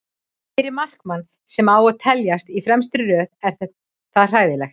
Fyrir markmann sem á að teljast í fremstu röð er það hræðilegt.